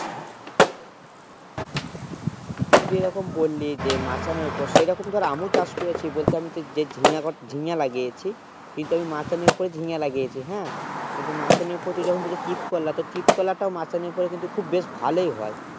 তুই যেরকম বলি যে মাচানে উপর সেই রকম ধর আমিও চাষ করেছি বলতে যে আমি যে ঝিঙ্গা গড় ঝিঙ্গা লাগিয়েছি কিন্তু আমি মাচানে উপরে ঝিঙ্গা লাগিয়েছি হেঁ কিন্তু মাচানে উপরে তুই যখন বললি চিৎ করলা তো চিৎ করলাও মাচানে উপরে কিন্তু খুব বেশ ভালো এ হয়ে